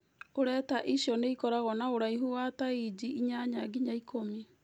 Ureta icio nĩ ĩkoragũo na ũraihu wa ta inji inyanya nginya ĩkũmi.